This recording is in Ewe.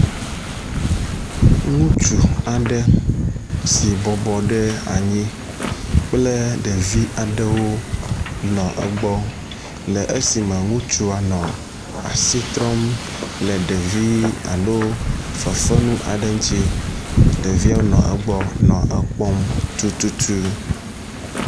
Ŋutsu aɖe si bɔbɔ ɖe anyi kple ɖevi aɖewo nɔ egbɔ le esime ŋutsua nɔ asi trɔm le ɖevi alo fefenu aɖe ŋuti. Ɖeviawo nɔ egbɔ nɔ ekpɔm tututu.